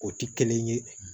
O ti kelen ye